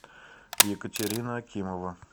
екатерина акимова